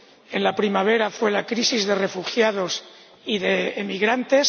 en la primavera, fue la crisis de refugiados y de inmigrantes